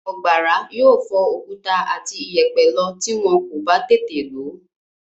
Ọ̀gbàrá yóò fọ òkúta àti ìyẹ̀pẹ̀ lọ tí wọ́n kò bá tètè lò ó.